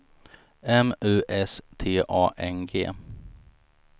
M U S T A N G